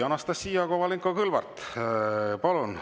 Anastassia Kovalenko-Kõlvart, palun!